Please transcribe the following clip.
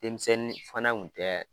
Denmisɛnnin fana kun tɛ